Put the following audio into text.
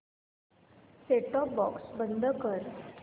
set top box बंद कर